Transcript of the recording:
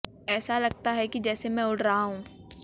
ऐसा लगता है कि जैसे मैं उड़ रहा हूं